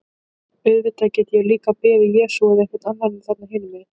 Auðvitað get ég líka beðið Jesú eða einhvern annan þarna hinum megin.